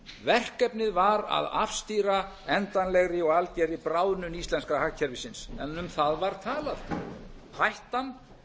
verkefnið var að afstýra endanlegri og algerri bráðnun íslenska hagkerfisins en um það var talað hættan